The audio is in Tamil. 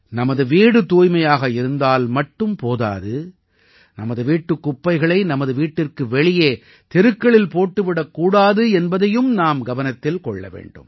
நமது வீடு தூய்மையாக இருந்தால் மட்டும் போதாது நமது வீட்டுக் குப்பைகளை நமது வீட்டிற்கு வெளியே தெருக்களில் போட்டு விடக் கூடாது என்பதையும் நாம் கவனத்தில் கொள்ள வேண்டும்